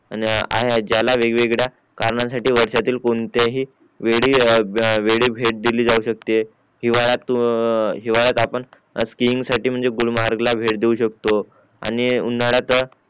आहे ज्याला वेग वेगळ्या कारणांसाठी वर्षातील कोणत्याही वेळी भेट भेट दिली जाऊ शकते हिवाळ्यात हिवाळ्यात आपण स्किंग साठी म्हणजे गुलमर्ग ला भेट देऊ शकतो आणि उन्हाळ्यात